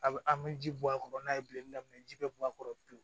A bɛ an bɛ ji bɔ a kɔrɔ n'a ye bilen daminɛ ji bɛ bɔ a kɔrɔ pewu